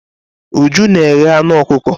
Uju na eghe anụ ọkụkọ.